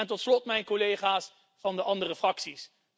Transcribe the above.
Tot slot dank ik mijn collega's van de andere fracties.